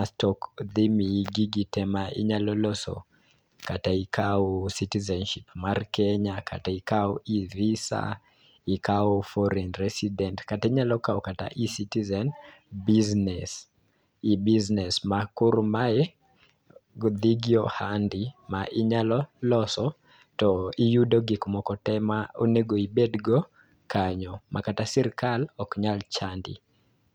asto dhi miyi gigi tee ma idhi loso kata ikawo citizenship mar kenya kata, ikawo e-visa ikawo foreign residence kata, inyalo kawo kata e-citizen business e-business ma koro mae go dhi gi ohandi ma inyalo loso to iyudo gik moko tee ma onego ibed go kanyo ma kata sirikal ok nya chandi.